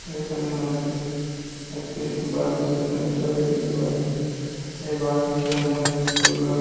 এইখানে আমরাকে একটি বাসেস স্ট্যান্ড -এর ছবি দেখতে পাচ্ছি এই বাসেস স্ট্যান্ড -এ সবলোক--